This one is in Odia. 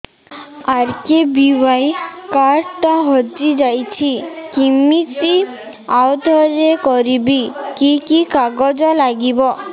ଆର୍.କେ.ବି.ୱାଇ କାର୍ଡ ଟା ହଜିଯାଇଛି କିମିତି ଆଉଥରେ କରିବି କି କି କାଗଜ ଲାଗିବ